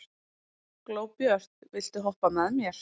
Glóbjört, viltu hoppa með mér?